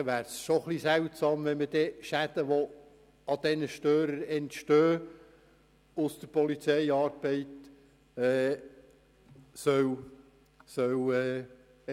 Es wäre somit seltsam, wenn Schäden, welche wegen den Störern entstehen, erlassen würden.